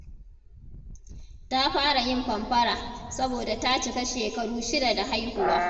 Ta fara yin fanfara saboda ta cika shekaru shida da haihuwa.